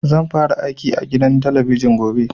Zan fara aiki a gidan talabijin gobe